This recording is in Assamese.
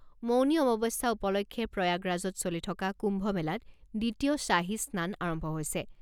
মৌনী অমাৱস্যা উপলক্ষে প্ৰয়াগৰাজত চলি থকা কুম্ভ মেলাত দ্বিতীয় শ্বাহী স্নান আৰম্ভ হৈছে।